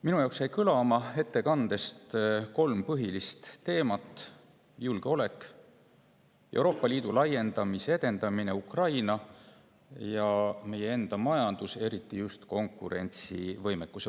Minu jaoks jäi ettekandest kõlama kolm põhilist teemat: julgeolek, Euroopa Liidu laiendamise edendamine Ukraina ja meie enda majandus, eriti just konkurentsivõime mõttes.